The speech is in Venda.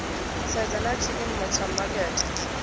sedza na tshiimo tsha makete